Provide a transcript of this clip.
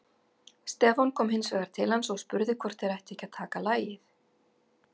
Stefán kom hins vegar til hans og spurði hvort þeir ættu ekki að taka lagið.